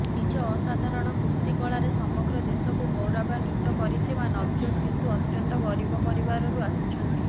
ନିଜ ଅସାଧାରଣ କୁସ୍ତି କଳାରେ ସମଗ୍ର ଦେଶକୁ ଗୌରବାନ୍ବିତ କରିଥିବା ନଭଜୋତ୍ କିନ୍ତୁ ଅତ୍ୟନ୍ତ ଗରିବ ପରିବାରରୁ ଅସିଛନ୍ତି